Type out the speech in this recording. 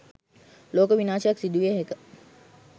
ලෝක විනාශයක් සිදුවිය හැක